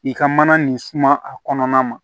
I ka mana nin suma a kɔnɔna na